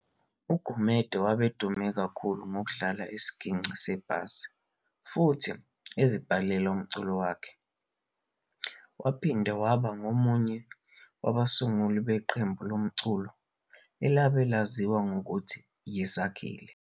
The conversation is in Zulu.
UGumede wabe edume kakhulu ngokudlala isigingci sebhazi futhi ezibhalela yena umculo, wayephinde abe abengomunye wabasunguli beqembu lomculo elabe laziwa ngokuthi yi"Sakhile".